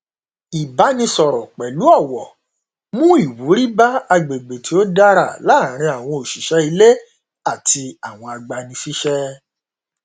ìbánisọrọ pẹlú ọwọ mú ìwúrí bá agbègbè tó dára láàrin àwọn òṣìṣẹ ilé àti àwọn agbanisíṣẹ